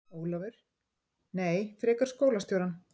Ólafur: Nei, frekar skólastjórann.